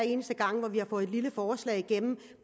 eneste gang vi har fået lille forslag igennem